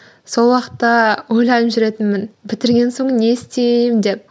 сол уақытта ойланып жүретінмін бітірген соң не істеймін деп